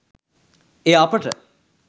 එය අපට